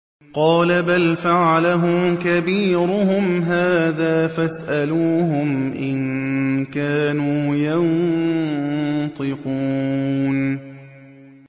قَالَ بَلْ فَعَلَهُ كَبِيرُهُمْ هَٰذَا فَاسْأَلُوهُمْ إِن كَانُوا يَنطِقُونَ